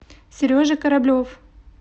сережа кораблев